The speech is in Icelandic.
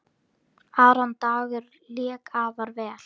Aron Dagur lék afar vel.